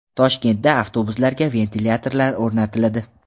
Toshkentda avtobuslarga ventilyatorlar o‘rnatiladi.